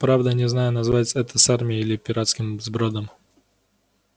правда не знаю назвать это армией или пиратским сбродом